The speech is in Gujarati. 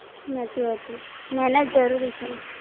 હાચી વાત છે ના, ના જરૂરી છે.